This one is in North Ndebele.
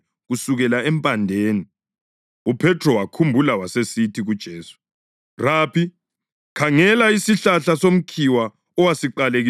UPhethro wakhumbula wasesithi kuJesu, “Rabi, khangela! Isihlahla somkhiwa owasiqalekisayo sibunile!”